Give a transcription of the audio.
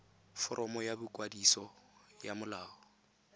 foromo ya boikwadiso ya molao